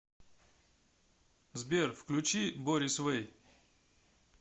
сбер включи борис вэй